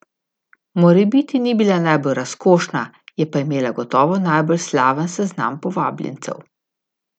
Morebiti ni bila najbolj razkošna, je pa imela gotovo najbolj slaven seznam povabljencev.